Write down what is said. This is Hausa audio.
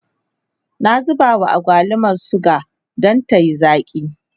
na zuba wa agwalumar suga Dan tayi zaki